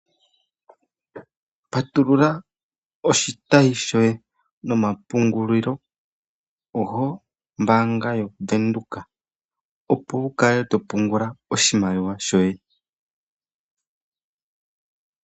Patulula oshitayi shoye nomapungulilo gombaanga yaBankWindhoek opo wukale to pungula oshimaliwa shoye.